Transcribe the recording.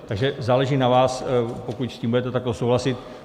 Takže záleží na vás, pokud s tím budete takto souhlasit.